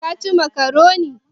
Ka ci makaronin?